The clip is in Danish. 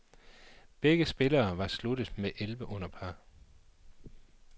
Begge spillere var sluttet med elleve under par.